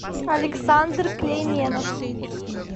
александр клейменов